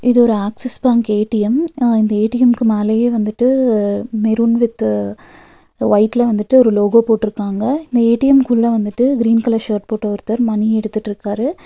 இது ஒரு Axis bank A T M அ இந்த ஏ_டி_எம்க்கு மேலயே வந்துட்டு மெருன் வித் வைட்ல வந்துட்டு ஒரு லோகோ போட்ருக்காங்க இந்த ஏ_டி_எம் குள்ள வந்துட்டு கிரீன் கலர் ஷர்ட் போட்ட ஒருத்தர் மணி எடுத்துட்ருக்காரு.